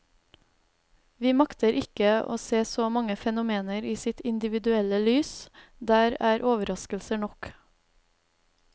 Vi makter ikke å se så mange fenomener i sitt individuelle lys, der er overraskelser nok.